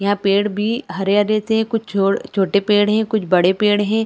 यहाँ पेड़ भी हरे हरे थे कुछ छोटे पेड़ थे कुछ बड़े पेड़ है।